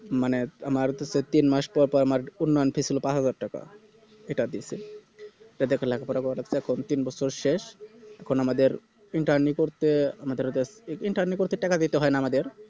মানে আমারতো তে~ তিন মাস পর পর আমার উন্নয়ন Fee ছিল পাঁচ হাজার টাকা এটা দিছি এতে লেখাপড়া করাটা এখন তিন বছর শেষ এখন আমাদের Interni করতে আমাদের ও যাস Interni করতে টাকা দিতে হয়না আমাদের